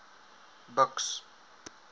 buks